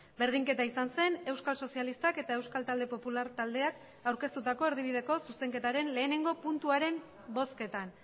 berdinketa izan zen euskal sozialistak eta euskal talde popular taldeak aurkeztutako erdibideko zuzenketaren lehenengo puntuaren bozketan